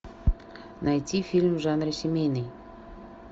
найти фильм в жанре семейный